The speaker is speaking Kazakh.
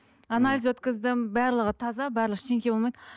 анализ өткіздім барлығы таза барлығы ештеңе болмайды